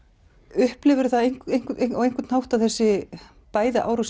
upplifir þú það á einhvern hátt að þessi bæði árásin